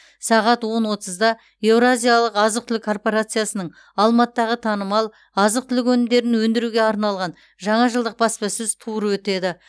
сағат он отызда еуразиялық азық түлік корпорациясының алматыдағы танымал азық түлік өнімдерін өндіруге арналған жаңа жылдық баспасөз туры өтеді